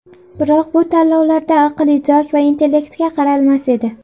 Biroq bu tanlovlarda aql-idrok va intellektga qaralmas edi.